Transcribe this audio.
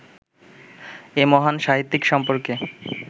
এ মহান সাহিত্যিক সম্পর্কে